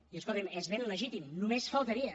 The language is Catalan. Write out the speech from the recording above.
i escolti’m és ben legítim només faltaria